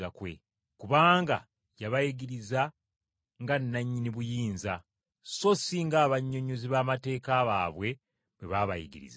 Kubanga yabayigiriza nga nannyini buyinza, so si ng’abannyonnyozi b’amateeka baabwe bwe baayigirizanga.